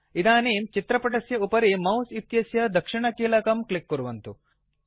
इदानीं चित्रपटस्य उपरि मौस् इत्यस्य दक्षिणकीलकं क्लिक् कुर्वन्तु